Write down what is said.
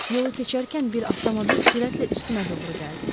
Yolu keçərkən bir avtomobil sürətlə üstümə doğru gəldi.